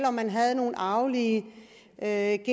om man havde nogle arvelige anlæg